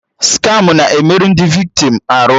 Skamụ na-emerụ ndị viktim arụ